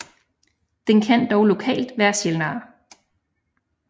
Den kan dog lokalt være sjældnere